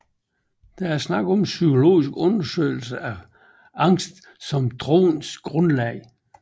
Der er tale om en psykologisk undersøgelse af angst som troens grundlag